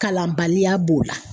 Kalanbaliya b'o la.